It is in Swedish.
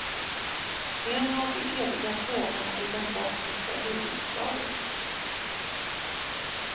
En av de eviga frågorna i den bosniska huvudstaden.